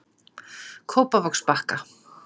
Kópavogsbakka